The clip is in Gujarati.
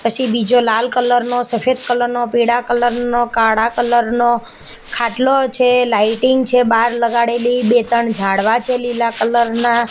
પસી બીજો લાલ કલર નો સફેદ કલર નો પીળા કલર નો કાળા કલર નો ખાટલો છે લાઇટિંગ છે બાર લગાડેલી બે ત્રણ ઝાડવા છે લીલા કલર ના.